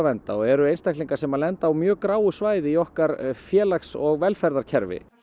vernda og eru einstaklingar sem lenda á mjög gráu svæði í okkar félags og velferðarkerfi